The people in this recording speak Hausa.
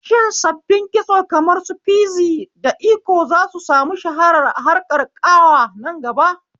Shin sabbin kitso kamar su fizi da iko zasu samu shahara a harkar ƙawa nan gaba?